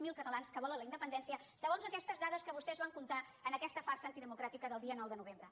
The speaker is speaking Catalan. zero catalans que volen la independència segons aquestes dades que vostès van comptar en aquesta farsa antidemocràtica del dia nou de novembre